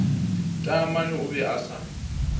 taamane o be a sa